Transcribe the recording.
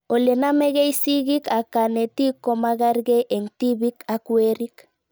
Ole namegei sigik ak kanetik komakarkei eng' tipik ak werik